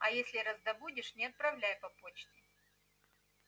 а если раздобудешь не отправляй по почте